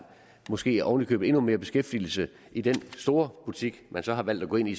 måske oven i købet er endnu mere beskæftigelse i den store butik man så har valgt at gå ind i